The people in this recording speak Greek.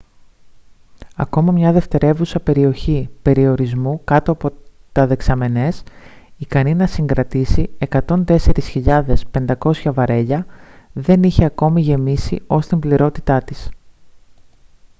ακόμα μια δευτερεύουσα περιοχή περιορισμού κάτω από τα δεξαμενές ικανή να συγκρατήσει 104.500 βαρέλια δεν είχε ακόμη γεμίσει ως την πληρότητά της